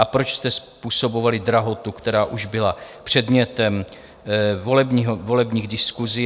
A proč jste způsobovali drahotu, která už byla předmětem volebních diskusí?